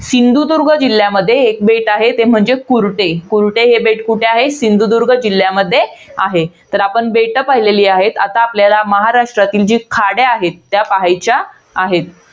सिंधुदुर्ग जिल्ह्यामध्ये एक बेट आहे, ते म्हणजे कुर्टे. कुर्टे हे बेट कुठे आहे? सिंधुदुर्ग जिल्ह्यामध्ये आहे. तर आपण बेटं पाहिलेली आहेत. आता आपल्याला महाराष्ट्रातील ज्या खाड्या आहेत. त्या पहायच्या आहेत.